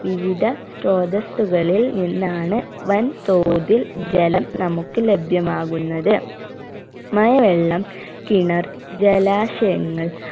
വിവിധ സ്ത്രോതസ്സുകളിൽ നിന്നാണ് വൻ തോതിൽ ജലം നമുക്ക് ലഭ്യമാകുന്നത് മഴ വെള്ളം കിണർ ജലാശയങ്ങൾ